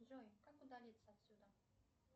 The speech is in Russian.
джой как удалиться отсюда